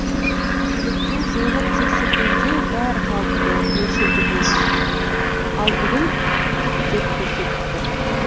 өткен жолы тексергенде бәрі қалыпты мөлшерде болған ал бүгін артық деп көрсетті